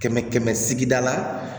Kɛmɛ kɛmɛ sigida la